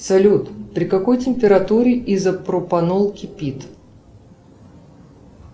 салют при какой температуре изопропанол кипит